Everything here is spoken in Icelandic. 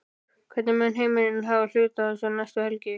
Hvernig mun Heimir hafa hlutina um næstu helgi?